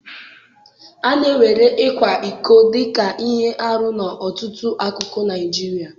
A na-ewere ịkwa iko dị ka ihe arụ n'ọtụtụ akụkụ Naijiria.